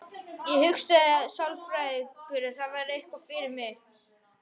Ég hugsaði: sálfræðingur, það væri eitthvað fyrir mig.